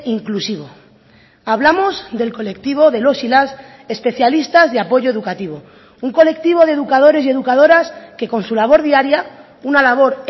inclusivo hablamos del colectivo de los y las especialistas de apoyo educativo un colectivo de educadores y educadoras que con su labor diaria una labor